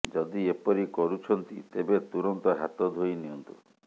ଯଦି ଏପରି କରୁଛନ୍ତି ତେବେ ତୁରନ୍ତ ହାତ ଧୋଇ ନିଅନ୍ତୁ